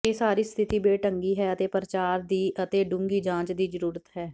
ਇਹ ਸਾਰੀ ਸਥਿਤੀ ਬੇਢੰਗੀ ਹੈ ਅਤੇ ਪ੍ਰਚਾਰ ਦੀ ਅਤੇ ਡੂੰਘੀ ਜਾਂਚ ਦੀ ਜ਼ਰੂਰਤ ਹੈ